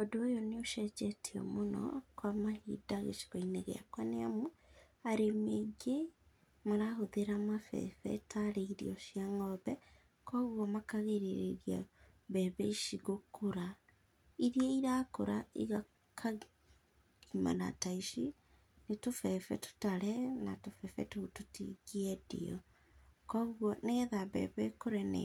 Ũndũ ũyũ nĩũcenjetĩe mũno kwa mahinda gĩcigo-inĩ gĩakwa nĩ amũ, arĩmi ainge marahũthĩra mabebe tarĩ irio cĩa ngombe, kogwo makagĩrĩrĩa mbembe ici gũkũra, ĩria irakũra ĩkagĩmara ta ici, nĩ tũbebe tũtare na tũbebe tũtigĩendio, kogwo nĩgetha mbembe ĩkũre na